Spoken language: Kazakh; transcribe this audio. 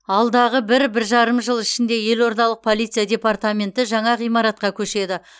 алдағы бір бір жарым жыл ішінде елордалық полиция департаменті жаңа ғимаратқа көшеді